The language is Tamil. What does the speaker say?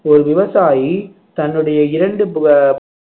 ஒரு விவசாயி தன்னுடைய இரண்டு